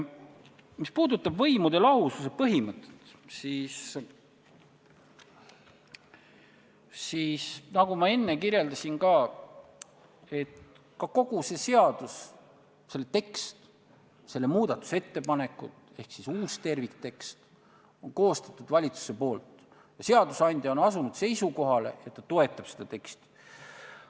Mis puudutab võimude lahususe põhimõtet, siis – nagu ma enne kirjeldasin – kogu selle seaduse, selle teksti, selle muudatusettepanekud ehk uue tervikteksti on koostanud valitsus ja seadusandja on asunud seisukohale, et ta toetab seda teksti.